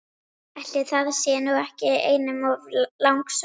Ætli það sé nú ekki einum of langsótt!